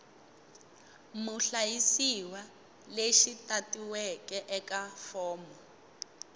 muhlayisiwa lexi tatiweke eka fomo